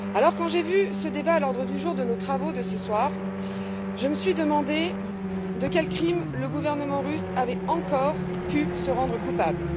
Quand j'ai vu ce débat à l'ordre du jour de nos travaux de ce soir, je me suis demandé de quel crime le gouvernement russe avait encore pu se rendre coupable.